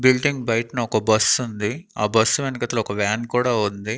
Building బైట్న ఒక bus ఉంది ఆ బస్సు వెనుకట్ల ఒక వాన్ కూడా ఉంది.